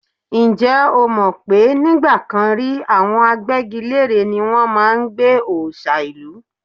Ǹjẹ́ o mọ̀ pé nígbà kan rí, àwọn agbẹ́gilére ni wọ́n máa ń gbẹ́ òòṣà ìlú?